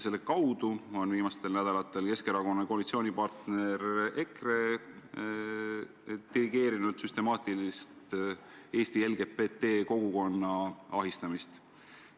Selle kaudu on Keskerakonna koalitsioonipartner EKRE viimastel nädalatel dirigeerinud süstemaatilist Eesti LGBT kogukonna ahistamist.